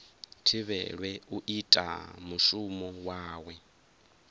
thivhelwe u ita mushumo wawe